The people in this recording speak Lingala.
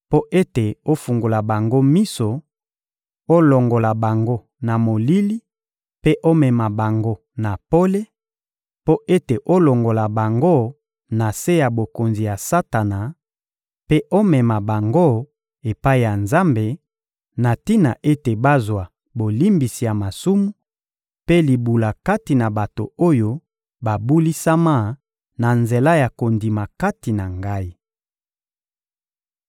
mpo ete ofungola bango miso, olongola bango na molili mpe omema bango na pole; mpo ete olongola bango na se ya bokonzi ya Satana mpe omema bango epai ya Nzambe, na tina ete bazwa bolimbisi ya masumu mpe libula kati na bato oyo babulisama na nzela ya kondima kati na Ngai.»